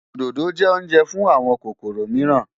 Òdòdó jẹ́ oúnjẹ fún àwọn kòkòrò mìíràn.